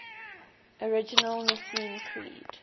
original nicene creed